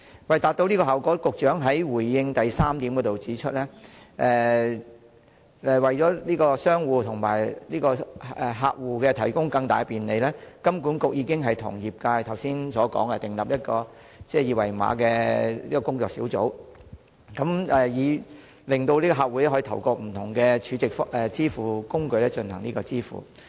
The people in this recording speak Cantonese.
為達致這效果，局長在主體答覆第三部分中指出，為向商戶和客戶提供更大便利，金管局已與業界就訂立二維碼標準成立了工作小組，以便客戶可透過不同儲值支付工具進行支付。